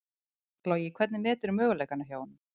Logi: Hvernig meturðu möguleikana hjá honum?